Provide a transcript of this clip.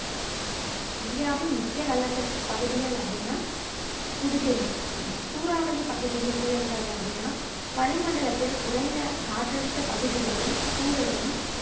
இந்தியாவின் முக்கிய வெள்ளப்பெருக்கு பகுதிகள் அப்படின்னா புதுடெல்லி சூறாவலி பகுதி புயல்கள் அப்படின்னா வளிமண்டலத்தில் குறைந்த காற்றழுத்த பகுதிகளில் சூழலும்